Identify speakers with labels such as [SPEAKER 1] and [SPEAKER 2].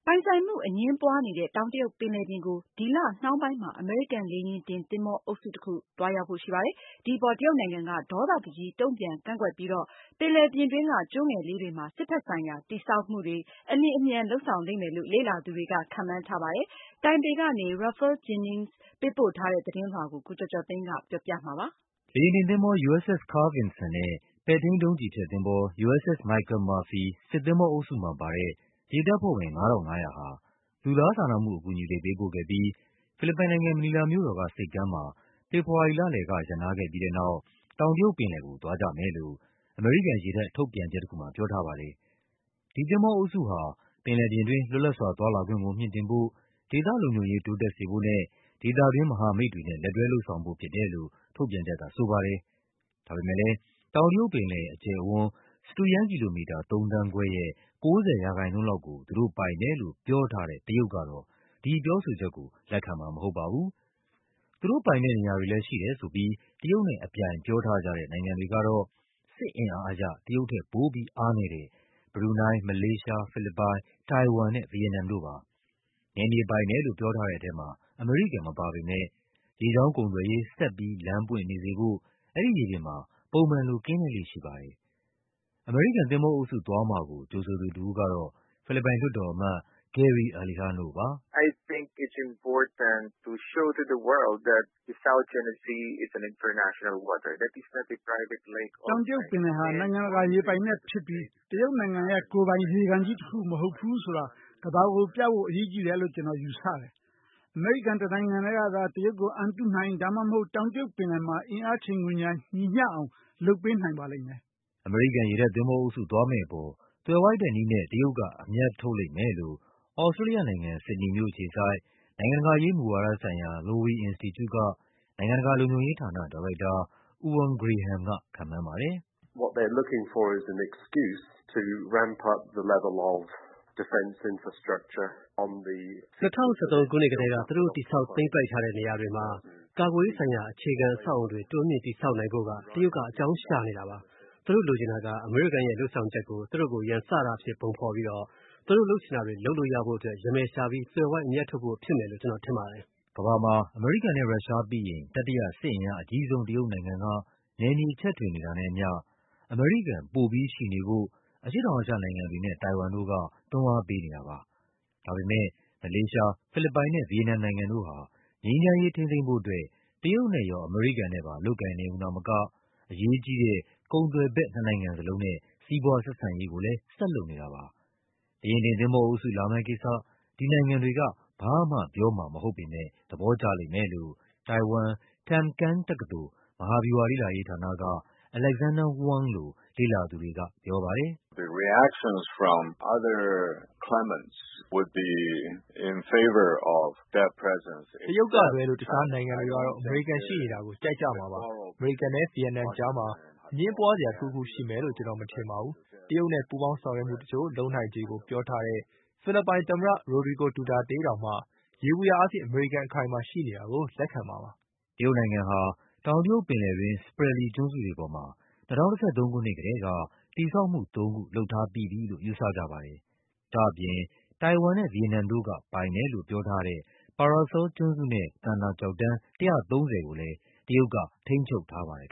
[SPEAKER 1] ပိုင်ဆိုင်မှုအငြင်းပွားနေတဲ့ တောင်တရုတ်ပင်လယ်ပြင်ကို ဒီလနှောင်းပိုင်းမှာ အမေရိကန် လေယာဉ်တင်သင်္ဘော အုပ်စုတခု သွားရောက်ဖို့ရှိပါတယ်။ ဒီအပေါ် တရုတ်နိုင်ငံက ဒေါသတကြီး တုန့်ပြန် ကန့်ကွက်ပြီးတော့ ပင်လယ်ပြင်တွင်းက ကျွန်းငယ်လေးတွေမှာ စစ်ဘက်ဆိုင်ရာ တည်ဆောက်မှုတွေ အလျင်အမြန် လုပ်ဆောင်လိမ့်မယ်လို့ လေ့လာသူတွေက ခန့်မှန်း ထားပါတယ်။ တိုင်ပေကနေ Ralph Jennings ပေးပို့ထားတဲ့ သတင်းလွှာကို ကိုကျော်ကျော်သိန်းက ပြောပြပါမယ်။ လေယာဉ်တင်သင်္ဘော USS Carl Vinson နဲ့ ပဲ့ထိန်းဒုံးကျည်ဖျက်သင်္ဘော USS Michael Murphy စစ်သင်္ဘောအုပ်စုမှာ ပါတဲ့ ရေတပ်ဖွဲ့ဝင် ၅,၅၀၀ ဟာ လူသားစာနာမှုအကူအညီတွေ ပေးပို့ခဲ့ပြီး ဖိလစ်ပိုင်နိုင်ငံ၊ မနီလာမြို့တော်က ဆိပ်ကမ်းမှာ ဖေဖော်ဝါရီလလယ်က ရပ်နားခဲ့ပြီးတဲ့နောက် တောင်တရုတ်ပင်လယ်ကို သွားကြမယ်လို့ အမေရိကန်ရေတပ် ထုတ်ပြန်ချက်တခု မှာပြောထားပါတယ်။ ဒီသင်္ဘောအုပ်စုဟာ ပင်လယ်ပြင်တွင်း လွတ်လပ်စွာသွားလာခွင့်ကို မြှင့်တင်ဖို့၊ ဒေသလုံခြုံရေး တိုးတက်စေဖို့နဲ့ ဒေသတွင်း မဟာ မိတ်တွေနဲ့ လက်တွဲလုပ်ဆောင်ဖို့ဖြစ်တယ်လို့ ထုတ်ပြန်ချက်ကဆိုပါတယ်။ ဒါပေမဲ့လည်း တောင်တရုတ်ပင်လယ် အကျယ်အဝန်း စတုရန်းကီလိုမီတာ ၃ သန်းခွဲ (၃.၅) ရဲ့ ၉၀% လောက်ကို သူတို့ပိုင်တယ် လို့ ပြောထားတဲ့ တရုတ်ကတော့ ဒီပြောဆိုချက်ကို လက်ခံမှာမဟုတ်ပါဘူး။ သူတို့ပိုင်တဲ့နေရာတွေလည်း ရှိတယ်ဆိုပြီး တရုတ်နဲ့အပြိုင် ပြောထားကြတဲ့နိုင်ငံတွေကတော့ စစ်အင်အားအရ တရုတ်ထက် ပိုပြီး အားနည်းတဲ့ ဘရူနိုင်း၊ မလေးရှား၊ ဖိလစ်ပိုင်၊ တိုင်ဝမ်နဲ့ ဗီယက်နမ်တို့ပါ။ နယ်မြေပိုင်တယ်လို့ ပြောတဲ့ထဲမှာ အမေရိကန်မပါပေမဲ့ ရေကြောင်းကုန်သွယ်ရေး ဆက်ပြီးလမ်းပွင့်နေစေဖို့ အဲဒီရေပြင်မှာ ပုံမှန်လို ကင်းလှည့်လေ့ရှိပါတယ်။ အမေရိကန်သင်္ဘောအုပ်စု သွားမှာကို ကြိုဆိုသူတဦးကတော့ ဖိလစ်ပိုင်လွှတ်တော်အမတ် Gary Alejano ပါ။ “တောင်တရုတ်ပင်လယ်ဟာ နိုင်ငံတကာရေပိုင်နက်ဖြစ်ပြီး တရုတ်ရဲ့ ကိုယ်ပိုင်ကန်မဟုတ်ဘူးဆိုတာ ကမ္ဘာကို ပြဖို့ အရေးကြီးတယ်လို့ ကျနော်ယူဆတယ်။ အမေရိကန် တနိုင်ငံထဲကသာ တရုတ်ကို အန်တုနိုင်၊ ဒါမှမဟုတ် တောင်တရုတ် ပင်လယ်မှာ အင်အားချိန်ခွင်လျှာ ညီမျှအောင် လုပ်ပေးနိုင်ပါတယ်။” အမေရိကန် ရေတပ်သင်္ဘောအုပ်စု သွားမယ့်အပေါ် သွယ်ဝိုက်တဲ့နည်းနဲ့ တရုတ်က အမြတ်ထုတ်လိမ့်မယ်လို့ သြစတြေးလျနိုင်ငံ၊ ဆစ်ဒနီမြို့အခြေစိုက် နိုင်ငံတကာရေး မူဝါဒဆိုင်ရာ Lowy အင်စတီကျူက နိုင်ငံတကာလုံခြုံရေးဌာန ဒါရိုက်တာ Euan Graham က ခန့်မှန်းပါတယ်။ “၂၀၁၃ ခုနှစ်ကတည်းက သူတို့ တည်ဆောက် သိမ်းပိုက်ထားတဲ့ နေရာတွေမှာ ကာကွယ်ရေးဆိုင်ရာ အခြေခံ အဆောက်အအုံတွေ တိုးမြှင့်တည်ဆောက်နိုင်ဖို့ တရုတ်က အကြောင်းရှာနေတာပါ။ သူတို့လိုချင်တာက အမေရိကန်ရဲ့ လုပ်ဆောင်ချက်ကို သူတို့ကို ရန်စတာအဖြစ် ပုံဖော်ပြီးတော့ သူတို့လုပ်ချင်တာတွေ လုပ်လို့ရဖို့အတွက် ရမယ်ရှာပြီး သွယ်ဝိုက် အမြတ်ထုတ်ဖို့ဖြစ်မယ်လို့ ကျနော်ထင်ပါတယ်။” ကမ္ဘာမှာ အမေရိကန်နဲ့ရုရှားပြီးရင် တတိယစစ်အင်အားအကြီးဆုံး တရုတ်နိုင်ငံက နယ်မြေချဲ့ထွင်နေတာနဲ့အမျှ အမေရိကန် ပိုပြီး ရှိနေဖို့ အရှေ့တောင်အာရှနိုင်ငံတွေနဲ့ တိုင်ဝမ်တို့က တွန်းအားပေးနေတာပါ။ ဒါပေမဲ့ မလေးရှား၊ ဖိလစ်ပိုင်နဲ့ ဗီယက်နမ်နိုင်ငံတို့ဟာ ငြိမ်းချမ်းရေးထိန်းသိမ်းဖို့အတွက် တရုတ်နဲ့ရော အမေရိကန်နဲ့ပါ လုပ်ကိုင် နေရုံသာမက အရေးကြီးတဲ့ ကုန်သွယ်ဖက် နှစ်နိုင်ငံစလုံးနဲ့ စီးပွားဆက်ဆံရေးကိုလည်း ဆက်လုပ်နေတာပါ။ လေယာဉ်တင် သင်္ဘောအုပ်စု လာမယ့်ကိစ္စ ဒီနိုင်ငံတွေက ဘာမှပြောမှာမဟုတ်ပေမဲ့ သဘောကျလိမ့်မယ်လို့ တိုင်ဝမ်၊ Tamkang တက္ကသိုလ်၊ မဟာဗျူဟာလေ့လာရေးဌာနက Alexander Huang လို လေ့လာသူတွေကပြောပါတယ်။ “တရုတ်ကလွဲလို့ တခြားနိုင်ငံတွေကတော့ အမေရိကန်ရှိနေတာကို ကြိုက်ကြမှာပါ။ အမေရိကန်နဲ့ ဗီယက် နမ်ကြားမှာ အငြင်းပွားစရာတခုခုရှိမယ်လို့ ကျနော်မထင်ပါဘူး။ တရုတ်နဲ့ ပူးပေါင်းဆောင်ရွက်မှုတချို့ လုပ်နိုင်ခြေကိုပြောထားတဲ့ ဖိလစ်ပိုင်သမ္မတ Rodrigo Duterte တောင်မှ ယေဘုယျအားဖြင့် အမေရိကန် အခိုင်အမာရှိနေတာကို လက်ခံမှာပါ။” တရုတ်နိုင်ငံဟာ တောင်တရုတ်ပင်လယ်တွင်း Spratly ကျွန်းစုတွေပေါ်မှာ ၂၀၁၃ ခုနှစ်ကတည်းက တည်ဆောက်မှုသုံးခု လုပ်ထားပြီးပြီလို့ ယူဆကြပါတယ်။ ဒါ့အပြင် တိုင်ဝမ်နဲ့ ဗီယက်နမ်တို့ကပိုင်တယ်လို့ ပြောထားတဲ့ Paracel ကျွန်းစုနဲ့ သန္တာ ကျောက်တန်း ၁၃၀ ကိုလည်း တရုတ်က ထိန်းချုပ်ထားပါတယ်